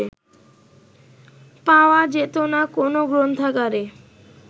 পাওয়া যেত না কোনো গণগ্রন্থাগারে